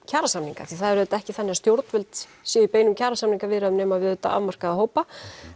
kjarasamninga því það er auðvitað ekki þannig að stjórnvöld séu í beinum kjarasamningaviðræðum nema auðvitað við afmarkaða hópa